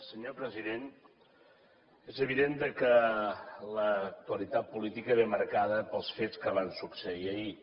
senyor president és evident que l’actualitat política ve marcada pels fets que van succeir ahir